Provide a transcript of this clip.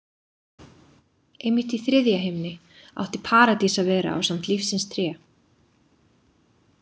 Einmitt í þriðja himni átti Paradís að vera ásamt lífsins tré.